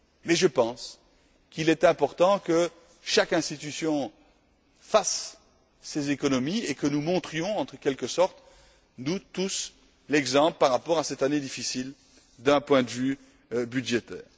Mais je pense qu'il est important que chaque institution fasse des économies et que nous montrions en quelque sorte nous tous l'exemple dans cette année difficile d'un point de vue budgétaire.